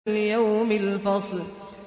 لِيَوْمِ الْفَصْلِ